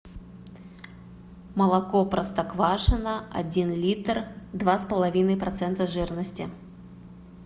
молоко простоквашино один литр два с половиной процента жирности